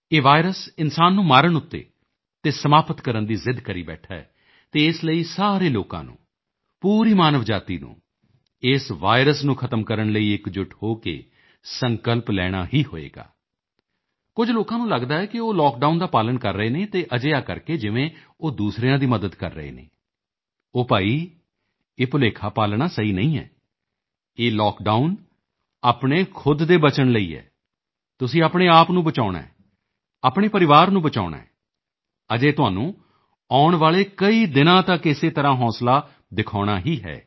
ਇਹ ਵਾਇਰਸ ਇਨਸਾਨ ਨੂੰ ਮਾਰਨ ਤੇ ਅਤੇ ਸਮਾਪਤ ਕਰਨ ਦੀ ਜ਼ਿੱਦ ਕਰੀ ਬੈਠਾ ਹੈ ਅਤੇ ਇਸ ਲਈ ਸਾਰੇ ਲੋਕਾਂ ਨੂੰ ਪੂਰੀ ਮਾਨਵ ਜਾਤੀ ਨੂੰ ਇਸ ਵਾਇਰਸ ਨੂੰ ਖ਼ਤਮ ਕਰਨ ਲਈ ਇੱਕਜੁੱਟ ਹੋ ਕੇ ਸੰਕਲਪ ਲੈਣਾ ਹੀ ਹੋਏਗਾ ਕੁਝ ਲੋਕਾਂ ਨੂੰ ਲੱਗਦਾ ਹੈ ਕਿ ਉਹ ਲੌਕਡਾਊਨ ਦਾ ਪਾਲਣ ਕਰ ਰਹੇ ਨੇ ਤਾਂ ਅਜਿਹਾ ਕਰਕੇ ਜਿਵੇਂ ਉਹ ਦੂਸਰਿਆਂ ਦੀ ਮਦਦ ਕਰ ਰਹੇ ਨੇ ਉਹ ਭਾਈ ਇਹ ਭੁਲੇਖਾ ਪਾਲਣਾ ਸਹੀ ਨਹੀਂ ਐ ਇਹ ਲੌਕਡਾਊਨ ਆਪਣੇ ਖੁਦ ਦੇ ਬਚਣ ਲਈ ਐ ਤੁਸੀਂ ਆਪਣੇ ਆਪ ਨੂੰ ਬਚਾਉਣਾ ਹੈ ਆਪਣੇ ਪਰਿਵਾਰ ਨੂੰ ਬਚਾਉਣਾ ਹੈ ਅਜੇ ਤੁਹਾਨੂੰ ਆਉਣ ਵਾਲੇ ਕਈ ਦਿਨਾਂ ਤੱਕ ਇਸੇ ਤਰ੍ਹਾਂ ਹੌਸਲਾ ਦਿਖਾਉਣਾ ਹੀ ਹੈ